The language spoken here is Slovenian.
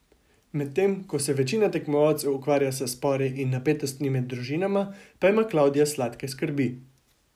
Medtem, ko se večina tekmovalcev ukvarja s spori in napetostmi med družinama, pa ima Klavdija sladke skrbi.